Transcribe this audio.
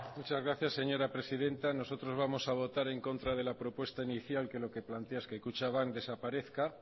muchas gracias señora presidenta nosotros vamos a votar en contra de la propuesta inicial que lo que plantea es que kutxabank desaparezca